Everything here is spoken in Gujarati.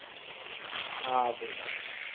હા ભાઈ